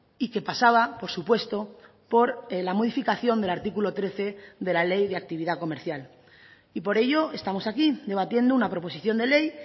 y que pasaba por supuesto por la modificación del artículo trece de la ley de actividad comercial y por ello estamos aquí debatiendo una proposición de ley